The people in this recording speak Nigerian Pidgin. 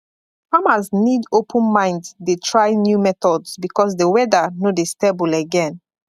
farmers need open mind dey try new methods because the weather no dey stable again